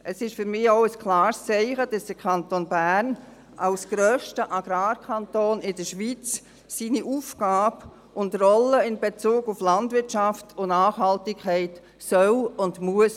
Es ist für mich auch ein klares Zeichen, dass der Kanton Bern als grösster Agrarkanton der Schweiz seine Rolle in Bezug auf die Landwirtschaft und die Nachhaltigkeit wahrnehmen soll und muss.